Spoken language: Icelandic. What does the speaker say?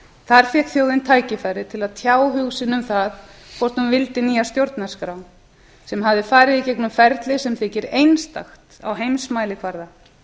þar fékk þjóðin tækifæri til að tjá hug sinn um það hvort hún vildi nýja stjórnarskrá sem hafði farið í gegnum ferli sem þykir einstakt á heimsmælikvarða